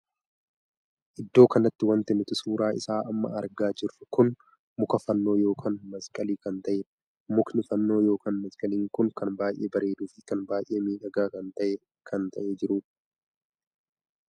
Iddoo kanatti wanti nuti suuraa isaa amma argaa jirru kun muka fannoo ykn maskalii kan tahedha. mukni fannoo ykn maskalii kun kan baay'ee bareeduu fi kan baay'ee miidhagaa kan tahee kan jirudha.